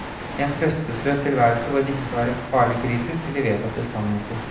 En trøstesløs tilværelse hvor en ikke skal være farlig kritisk til de vedtatte sannheter.